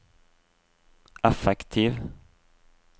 effektiv